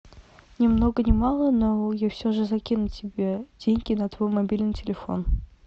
ни много ни мало но я все же закину тебе деньги на твой мобильный телефон